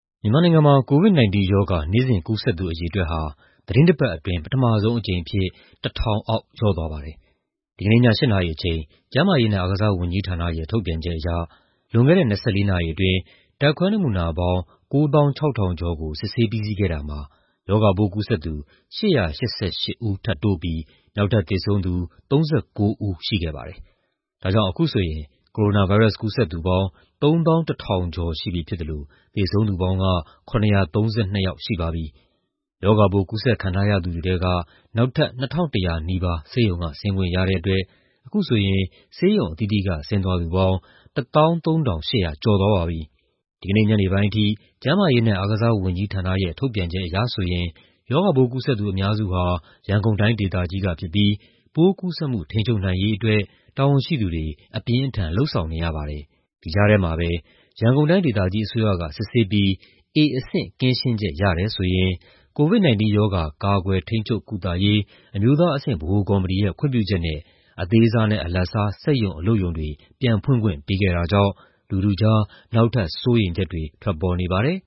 မြန်မာနိုင်ငံမှာ COVID-19 ရောဂါ နေ့စဉ်ကူးစက်သူအရေအတွက်ဟာ သီတင်းတပတ်အတွင်း ပထမဆုံးအကြိမ်အဖြစ် ၁,၀၀၀ အောက် လျော့သွားပါတယ်။ ဒီကနေ့ည ၈ နာရီအချိန် ကျန်းမာရေးနဲ့ အားကစားဝန်ကြီးဌာနရဲ့ ထုတ်ပြန်ချက်အရ လွန်ခဲ့တဲ့ ၂၄ နာရီအတွင်း ဓာတ်ခွဲနမူနာပေါင်း ၉,၆၅၆ ခုကို စစ်ဆေးပြီးစီးခဲ့တာမှာ ရောဂါပိုးကူးစက်သူ ၈၈၈ ဦးထပ်တိုးပြီး နောက်ထပ်သေဆုံးသူ ၃၉ ဦးရှိခဲ့ပါတယ်။ ဒါကြောင့် အခုဆိုရင် ကိုရိုနာဗိုင်းရပ်စ်ကူးစက်သူပေါင်း ၃၁,၃၂၅ ရှိပြီဖြစ်သလို သေဆုံးသူပေါင်း ၇၃၂ ယောက်ရှိပါပြီ။ ရောဂါပိုး ကူးစက်ခံထားရသူတွေထဲက နောက်ထပ် ၂,၀၉၇ ယောက် ဆေးရုံက ဆင်းခွင့်ရတဲ့အတွက် အခုဆိုရင် ဆေးရုံအသီးသီးက ဆင်းသွားသူပေါင်း ၁၃,၈၆၆ ယောက် ရှိပြီဖြစ်ပါတယ်။ ဒီကနေ့ညနေပိုင်းအထိ ကျန်းမာရေးနဲ့ အားကစားဝန်ကြီးဌာနရဲ့ ထုတ်ပြန်ချက်အရဆိုရင် ရောဂါပိုးကူးစက်သူ အများစုဟာ ရန်ကုန်တိုင်းဒေသကြီးကဖြစ်ပြီး ပိုးကူးစက်မှု ထိန်းချုပ်နိုင်ရေးအတွက် တာဝန်ရှိသူတွေ အပြင်းအထန် လုပ်ဆောင်နေရပါတယ်။ ဒီကြားထဲမှာပဲ ရန်ကုန်တိုင်းဒေသကြီးအစိုးရက စစ်ဆေးပြီး A အဆင့် ကင်းရှင်းချက်ရတယ်ဆိုရင် COVID-19 ရောဂါ ကာကွယ်၊ ထိန်းချုပ်၊ ကုသရေး အမျိုးသားအဆင့်ဗဟိုကော်မတီရဲ့ ခွင့်ပြုချက်နဲ့ အသေးစားနဲ့ အလတ်စား စက်ရုံ အလုပ်ရုံတွေ ပြန်ဖွင့်ခွင့်ပေးခဲ့တာကြောင့် လူထုကြား နောက်ထပ် စိုးရိမ်ချက်တွေ ထွက်နေပါတယ်။